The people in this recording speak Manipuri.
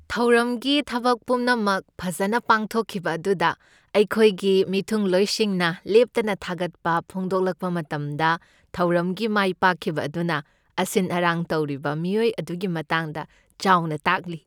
ꯊꯧꯔꯝꯒꯤ ꯊꯕꯛ ꯄꯨꯝꯅꯃꯛ ꯐꯖꯅ ꯄꯥꯡꯊꯣꯛꯈꯤꯕ ꯑꯗꯨꯗ ꯑꯩꯈꯣꯏꯒꯤ ꯃꯤꯊꯨꯡꯂꯣꯏꯁꯤꯡꯅ ꯂꯦꯞꯇꯅ ꯊꯥꯒꯠꯄ ꯐꯣꯡꯗꯣꯛꯂꯛꯄ ꯃꯇꯝꯗ ꯊꯧꯔꯝꯒꯤ ꯃꯥꯏꯄꯥꯛꯈꯤꯕ ꯑꯗꯨꯅ ꯑꯁꯤꯟ ꯑꯔꯥꯡ ꯇꯧꯔꯤꯕ ꯃꯤꯑꯣꯏ ꯑꯗꯨꯒꯤ ꯃꯇꯥꯡꯗ ꯆꯥꯎꯅ ꯇꯥꯛꯂꯤ꯫